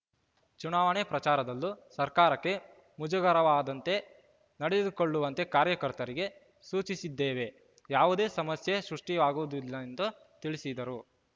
ಚುನಾವಣೆ ಪ್ರಚಾರದಲ್ಲೂ ಸರ್ಕಾರಕ್ಕೆ ಮುಜುಗರವಾದಂತೆ ನಡೆದುಕೊಳ್ಳುವಂತೆ ಕಾರ್ಯಕರ್ತರಿಗೆ ಸೂಚಿಸಿದ್ದೇವೆ ಯಾವುದೇ ಸಮಸ್ಯೆ ಸೃಷ್ಟಿಸುವುದಿಲ್ಲ ಎಂದು ತಿಳಿಸಿದರು